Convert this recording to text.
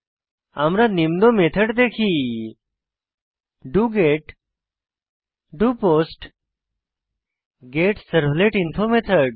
আমরা নিম্ন মেথড দেখি ডগেট ডোপোস্ট গেটসার্ভলেটিনফো মেথড